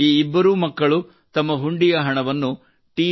ಈ ಇಬ್ಬರೂ ಮಕ್ಕಳು ತಮ್ಮ ಹುಂಡಿಯ ಹಣವನ್ನು ಟಿ